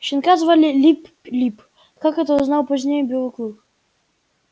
щенка звали лип лип как это узнал позднее белый клык